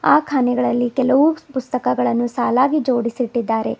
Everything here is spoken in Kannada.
ಆ ಖಾನಿಗಳಲ್ಲಿ ಕೆಲವು ಪುಸ್ತಕಗಳನ್ನು ಸಾಲಾಗಿ ಜೋಡಿಸಿಟ್ಟಿದ್ದಾರೆ.